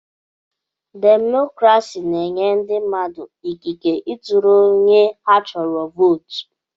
Demokrasi na-enye ndị mmadụ ikike ị tụrụ onye ha chọrọ vootu.